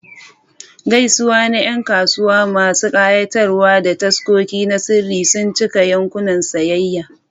Gaisuwa na Yan kasuwa masu kayatarwa da taskoki na sirri sun cika yankunan sayayya.